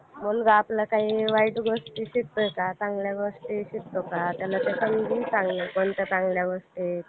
आता असा काळ आला कि जिथे admission घेत नाही लोक. कारण कि अं म्हणजे वेळ असतो कोणत्या पण गोष्टीचा आणि काळ.